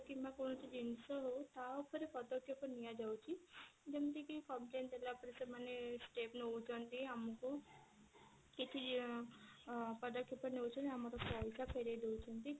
କିମ୍ବା କୌଣସି ଜିନିଷ ହଉ ତା ଉପରେ ପଦକ୍ଷେପ ନିଆ ଯାଉଛି ଯେମତି କି complain ଦେଲା ପରେ ସେମାନେ step ନଉଛନ୍ତି ଆମକୁ କିଛି ଅ ଅ ପଦକ୍ଷେପ ନଉଛନ୍ତି ଆମର ପଇସା ଫେରେଇ ଦଉଛନ୍ତି କି